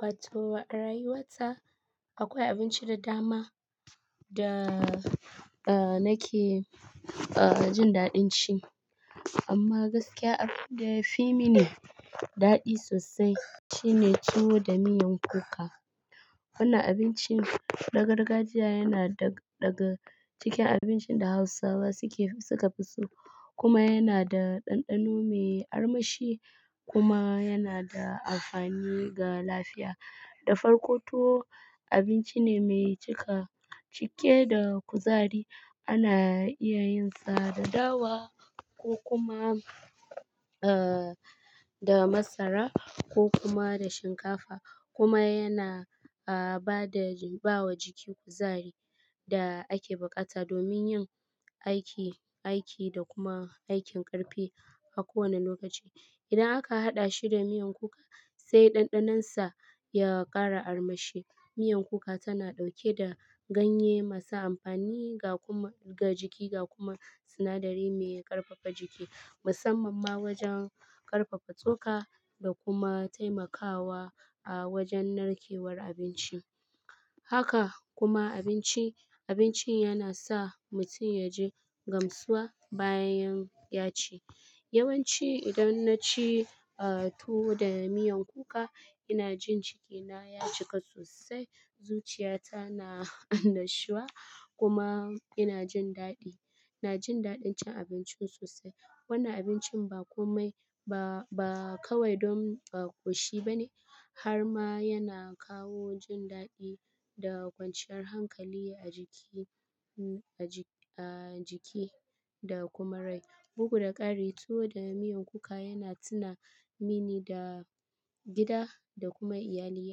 Wato a rayuwata akwai abinci da dama da a nake a jin daɗin ci. Amma gaskiya abinci da yafi mini daɗi sosai shine tuwo da miyan kuka. Wannan abincin na gargajiya yana daga cikin abincin da Hausawa suke fi sukafi so. Kuma yana da ɗanɗano mai armashi kuma yana da amfani ga lafiya. Da farko tuwo abinci ne mai cika cike da kuzari. Ana iya yin sa da dawa ko kuma da masara ko kuma da shinkafa kuma yana bada- bawa jiki kuzari da ake bukata domin yin aiki, aiki da kuma aikin ƙarfi a kowane lokaci. Idan aka haɗa shi da miyan kuka sai ɗanɗanonsa ya ƙara armashi. Miyan kuka tana ɗauke da ganye masu amfani ga kuma- ga jiki ga kuma sinadari mai ƙarfafa jiki musamman ma wajen ƙarfafa tsoka da kuma taimakawa a wajen narkewar abinci. Haka kuma abinci- abinci yana sa mutum yaji gamsuwa bayan ya ci. Yawanci idan na ci tuwo da miyan kuka ina jin cikina ya cika sosai. Zuciyata na annashuwa kuma ina jin daɗi. Ina jin daɗin cin abinci sosai. Wannan abincin ba komai ba- ba kawai don ba ƙoshi bane har ma yana kawo jin daɗi da kwanciyar hankali a jiki, a jiki da kuma rai. Bugu da ƙari tuwo da miyan kuka yana tuna mini da gida da kuma iyali.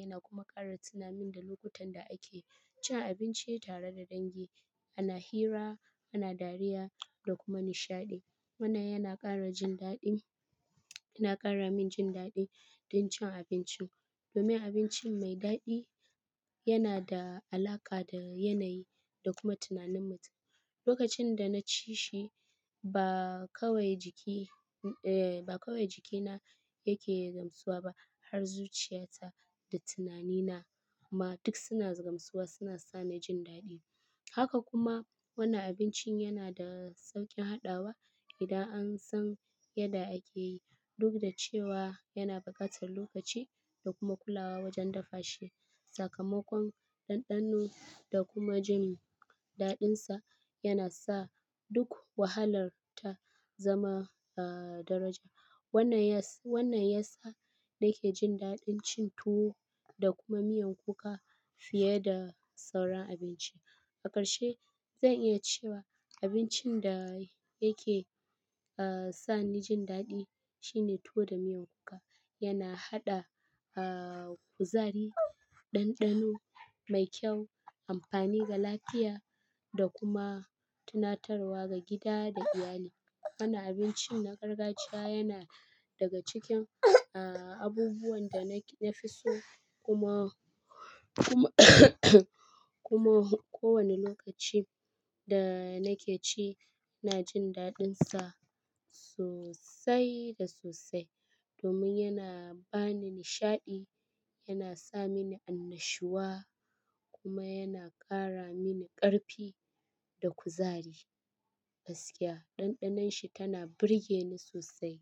Yana kuma ƙara tuna min da lokutan da ake cin abinci tare da dangi. Ana hira, ana dariya da kuma nishaɗi. Wannan yana ƙara jin daɗi, yana ƙara min jin daɗi don cin abinci. Domin abinci mai daɗi yana da alaƙa da yanayi da kuma tunanin mutum. Lokacin da na ci shi ba kawai jiki, wai ba kawai jikina yake gamsuwa ba har zuciyata da tunanina ma duk suna gamsuwa suna sani jin daɗi. Haka kuma wannan abincin yana da sauƙin haɗawa idan an san yadda ake yi. Duk da cewa yana buƙatar lokaci da kuma kulawa wajen dafa shi. Sakamakon ɗanɗano da kuma jin daɗinsa yana sa duk wahalar ta zama aah daraja. Wannan ya sa- wannan ya sa nake jin daɗin cin tuwo da kuma miyan kuka fiye da sauran abinci. A ƙarshe zan iya cewa abincin da yake aah sa ni jin daɗi shine tuwo da miyan kuka. Yana haɗa aah kuzari, ɗanɗano mai kyau, amfani ga lafiya da kuma tunatarwa ga gida da iyali. Wannan abincin na gargajiya yana daga cikin aah abubuwan da na fi so kuma- kuma kuma ko wane lokaci da nake ci ina jin daɗinsa sosai da sosai domin yana ba ni nishaɗi, yana sa mini annashuwa kuma yana ƙara mini ƙarfi da kuzari. Gaskiya ɗanɗanonshi tana burge ni sosai.